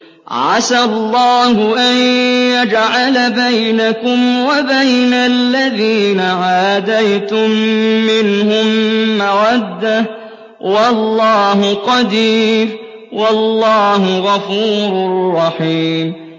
۞ عَسَى اللَّهُ أَن يَجْعَلَ بَيْنَكُمْ وَبَيْنَ الَّذِينَ عَادَيْتُم مِّنْهُم مَّوَدَّةً ۚ وَاللَّهُ قَدِيرٌ ۚ وَاللَّهُ غَفُورٌ رَّحِيمٌ